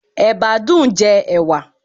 Ẹ̀bá dùn-ún jẹ ẹ̀wà.